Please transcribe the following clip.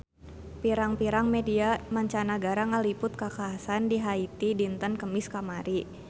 Pirang-pirang media mancanagara ngaliput kakhasan di Haiti dinten Kemis kamari